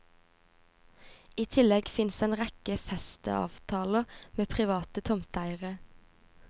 I tillegg fins en rekke festeavtaler med private tomteeiere.